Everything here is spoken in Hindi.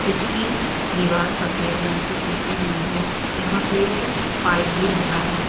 इसकी दीवार सफेद रंग से पुती हुई है। यहाँ पे एक पाइप भी लगा है।